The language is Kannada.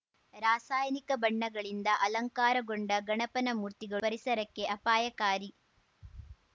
ರಾಸಾಯನಿಕ ಬಣ್ಣಗಳಿಂದ ಅಲಂಕಾರಗೊಂಡ ಗಣಪನ ಮೂರ್ತಿಗಳು ಪರಿಸರಕ್ಕೆ ಅಪಾಯಕಾರಿ